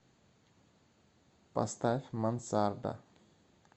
поставь мансарда